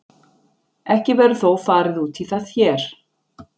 Ekki verður þó farið út í það hér.